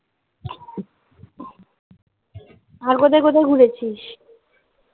আর কোথায় কোথায় ঘুরেছিস